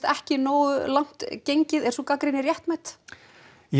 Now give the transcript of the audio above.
ekki nógu langt gengið er sú gagnrýni réttmæt já